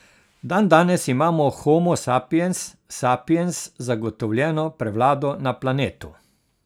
Dandanes ima homo sapiens sapiens zagotovljeno prevlado na planetu.